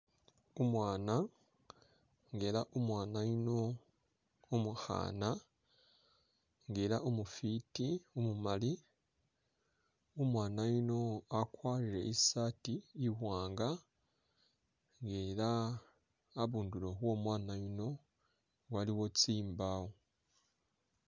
Umwana elah umwana yuuno umukhana elah umufiti umumali umwana yuuno wakwarile isaati i'wanga elah nga abundulo omwana yuuno aliwo tsimbawo